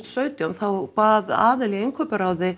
sautján þá bað aðili í innkauparáði